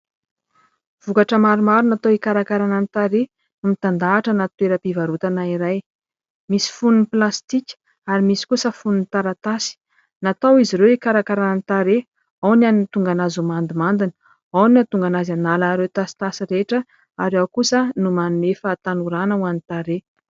Vokatra maromaro natao hikarakarana ny tarehy, mitandahatra anaty toeram-pivarotana iray. Misy fonony plastika ary misy kosa fonony taratasy. Natao izy ireo hikarakarana ny tarehy : ao ny hahatonga anazy ho mandimandina, ao ny hahatonga anazy hanala ireo tasitasy rehetra ary ao kosa no manome fahatanorana ho an'ny tarehy.